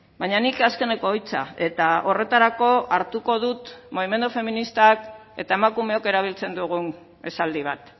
baina nik azkeneko hitza eta horretarako hartuko dut mugimendu feministak eta emakumeok erabiltzen dugun esaldi bat